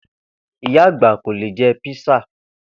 Ìyá àgbà kò lè je̩ písà